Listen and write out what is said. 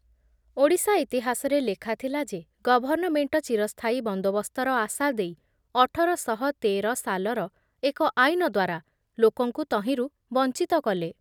ଓଡ଼ିଶା ଇତିହାସରେ ଲେଖାଥିଲା ଯେ ଗଭର୍ଣ୍ଣମେଣ୍ଟ ଚିରସ୍ଥାୟୀ ବନ୍ଦୋବସ୍ତର ଆଶା ଦେଇ ଅଠର ଶହ ତେର ସାଲର ଏକ ଆଇନ ଦ୍ବାରା ଲୋକଙ୍କୁ ତହିଁରୁ ବଞ୍ଚିତ କଲେ ।